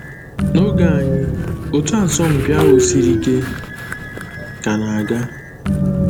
N’oge anyị, otu asọmpi ahụ siri ike ka na-aga.